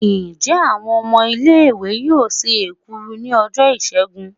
njẹ awon ọmọ ile iwe yọọ se ekuru ni ojo Isègún?